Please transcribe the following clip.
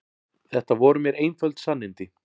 Þetta voru mér einföld sannindi.